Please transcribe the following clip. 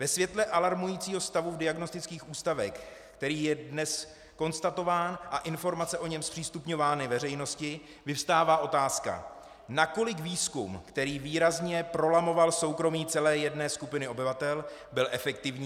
Ve světle alarmujícího stavu v diagnostických ústavech, který je dnes konstatován a informace o něm zpřístupňovány veřejnosti, vyvstává otázka, nakolik výzkum, který výrazně prolamoval soukromí celé jedné skupiny obyvatel, byl efektivní.